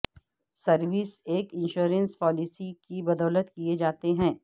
services ایک insurance policy کی بدولت کئے جاتے ہیں